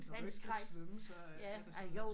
Når du ikke kan svømme så er det sådan lidt